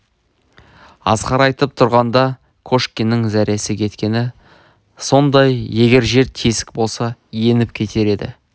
асқар айтып тұрғанда кошкиннің зәресі кеткені сондай егер жер тесік болса еніп кетер еді